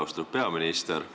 Austatud peaminister!